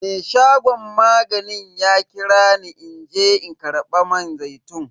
Me shagon maganin ya kira ni in je in karba man zaitun.